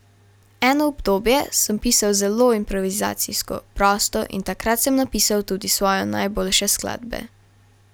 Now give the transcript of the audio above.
Eno obdobje sem pisal zelo improvizacijsko, prosto, in takrat sem napisal tudi svoje najboljše skladbe.